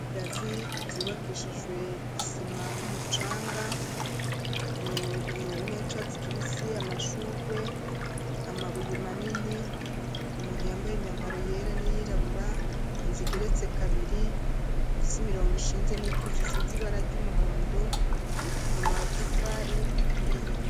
Ibigazi vyubakishijwe isima n'umucanga umurimo w'ichartsi kibisi amashugwe amabuye manini umuntu yambaye imyambaro yera n'iyirabura inzi igeretse kabiri imfise imirongo ishinze n'ikisisiz ibara ry'umuhondo amatafari aturiye.